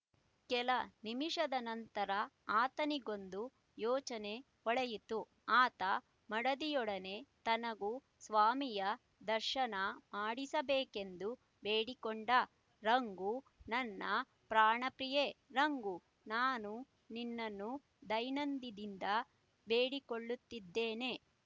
ಕೆಲನಿಮಿಷದ ನಂತರ ಆತನಿಗೊಂದು ಯೋಚನೆ ಹೊಳೆಯಿತು ಆತ ಮಡದಿಯೊಡನೆ ತನಗೂ ಸ್ವಾಮಿಯ ದರ್ಶನ ಮಾಡಿಸಬೇಕೆಂದು ಬೇಡಿಕೊಂಡ ರಂಗು ನನ್ನ ಪ್ರಾಣಪ್ರಿಯೆ ರಂಗು ನಾನು ನಿನ್ನನ್ನು ದೈನಂದಿದಿಂದ ಬೇಡಿಕೊಳ್ಳುತ್ತಿದ್ದೇನೆ